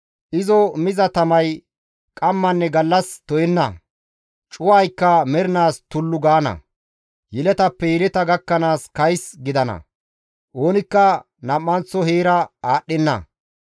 Izo miza tamay qammanne gallas to7enna; cuwaykka mernaas tullu gaana; yeletappe yeleta gakkanaas kays gidana. Oonikka nam7anththo heera aadhdhenna.